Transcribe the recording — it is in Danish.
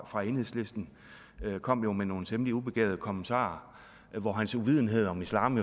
fra enhedslisten kom jo med nogle temmelig ubegavede kommentarer hvor hans uvidenhed om islam